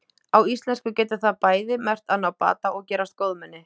Á íslensku getur það bæði merkt að ná bata og gerast góðmenni.